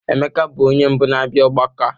Emeka bụ onye mbụ na-abịa ọgbakọ a.